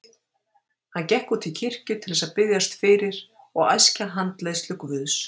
Hann gekk út í kirkju til þess að biðjast fyrir og æskja handleiðslu Guðs.